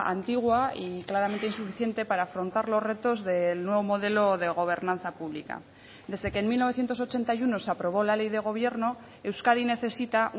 antigua y claramente insuficiente para afrontar los retos del nuevo modelo de gobernanza pública desde que en mil novecientos ochenta y uno se aprobó la ley de gobierno euskadi necesita